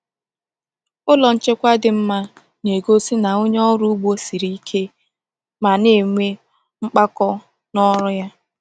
Ụlọ nchekwa dị mma na-egosi na onye ọrụ ugbo siri ike ma na-enwe mpako n’ọrụ ya.